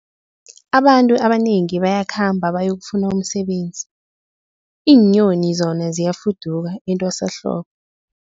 Abantu abanengi bayakhamba bayokufuna umsebenzi, iinyoni zona ziyafuduka etwasahlobo.